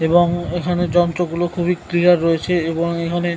এবং এখানে যন্ত্র গুলো খুবই ক্লিয়ার রয়েছে এবং এখানে--